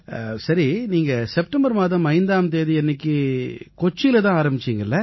சரி நீங்க செப்டெம்பர் மாதம் 5ஆம் தேதியன்னைக்கு கொச்சியில தான் ஆரம்பிச்சீங்க இல்லையா